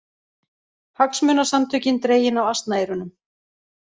Hagsmunasamtökin dregin á asnaeyrunum